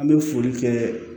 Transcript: An bɛ foli kɛ